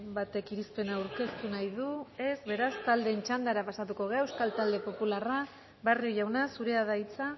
batek irizpena aurkeztu nahi du ez beraz taldeen txandara pasatuko gara euskal talde popularra barrio jauna zurea da hitza